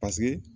Paseke